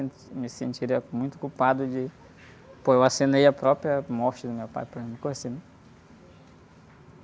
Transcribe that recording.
me sentiria muito culpado de... Pô, eu assinei a própria morte do meu pai, para mim ficou assim...